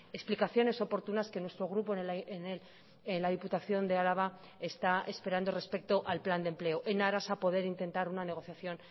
explicaciones oportunas que nuestro grupo en la diputación de álava está esperando respecto al plan de empleo en aras a poder intentar una negociación